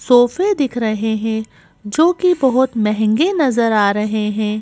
सोफे दिख रहे हैं जो कि बहुत महंगे नजर आ रहे हैं।